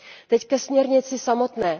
Teď ke směrnici samotné.